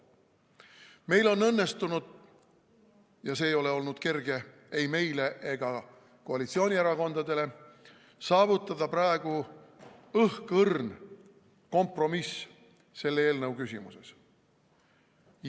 Meil on õnnestunud – ja see ei ole olnud kerge ei meile ega koalitsioonierakondadele – saavutada praegu õhkõrn kompromiss selle eelnõu küsimuses.